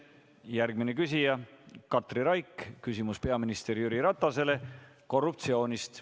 Järgmine küsija on Katri Raik, küsimus on peaminister Jüri Ratasele korruptsiooni kohta.